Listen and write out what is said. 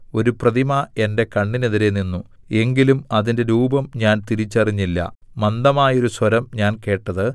ഒരു പ്രതിമ എന്റെ കണ്ണിനെതിരെ നിന്നു എങ്കിലും അതിന്റെ രൂപം ഞാൻ തിരിച്ചറിഞ്ഞില്ല മന്ദമായൊരു സ്വരം ഞാൻ കേട്ടത്